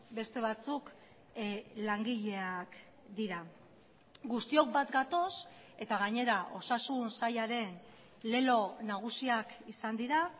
beste batzuk langileak dira guztiok bat gatoz eta gainera osasun sailaren lelo nagusiak izan dira